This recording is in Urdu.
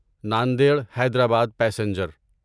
ناندیڑ حیدرآباد پیسنجر